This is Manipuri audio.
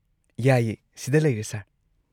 ꯌꯥꯏꯌꯦ, ꯁꯤꯗ ꯂꯩꯔꯦ ꯁꯔ꯫